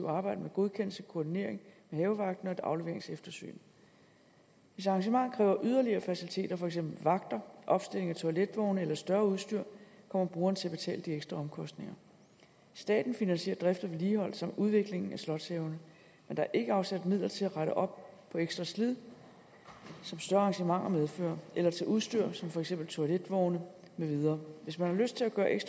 arbejde med godkendelse koordinering med havevagten og et afleveringseftersyn hvis arrangementet kræver yderligere faciliteter som for eksempel vagter opstilling af toiletvogne eller større udstyr kommer brugeren til at betale de ekstra omkostninger staten finansierer drift og vedligehold samt udviklingen af slotshaverne men der er ikke afsat midler til at rette op på ekstra slid som større arrangementer medfører eller til udstyr som for eksempel toiletvogne med videre hvis man har lyst til at